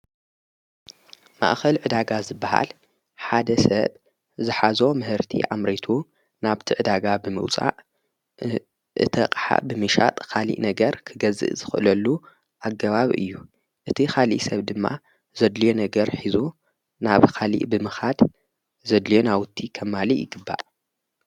ማእኸል ዕዳጋ ዝበሃል ሓደ ሰብ ዝኃዞ ምህርቲ ኣምሬቱ ናብቲ ዕዳጋ ብምውፃእ እቲ ቕሓ ብሚሻጥ ኻሊእ ነገር ክገዝእ ዘኽለሉ ኣገባብ እዩ እቲ ኻሊእ ሰብ ድማ ዘድልዮ ነገር ኂዞ ናብ ኻሊእ ብምኻድ ዘድልዮ ናኣውቲ ኸማልእ ይግባእ።